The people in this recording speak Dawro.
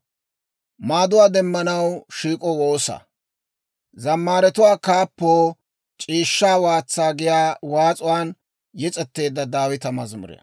Abeet S'oossaw, taana ashsha; ayaw gooppe, haatsay taw k'ood'iyaa gakkeedda.